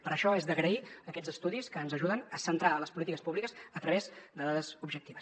per això són d’agrair aquests estudis que ens ajuden a centrar les polítiques públiques a través de dades objectives